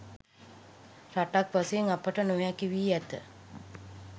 රටක් වශයෙන් අපට නොහැකි වී ඇත.